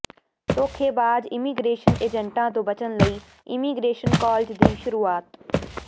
ਧੋਖੇਬਾਜ਼ immigration ਏਜੰਟਾਂ ਤੋਂ ਬਚਣ ਲਈ ਇਮੀਗ੍ਰੇਸ਼ਨ ਕਾਲਜ ਦੀ ਸ਼ੁਰੂਆਤ